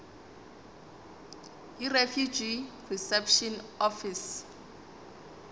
yirefugee reception office